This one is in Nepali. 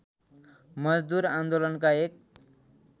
मजदुर आन्दोलनका एक